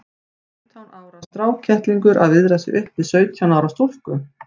Fimmtán ára strákkettlingur að viðra sig upp við sautján ára stúlku!